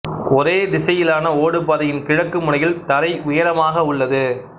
ஒரே திசையிலான ஓடுபாதையின் கிழக்கு முனையில் தரை உயரமாக உள்ளது